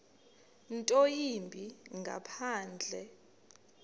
nto yimbi ngaphandle